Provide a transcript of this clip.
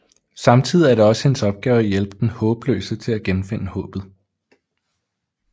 Samtidig er det også hendes opgave at hjælpe den håbløse til at genfinde håbet